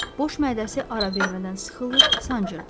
Boş mədəsi ara vermədən sıxılır, sancırdı.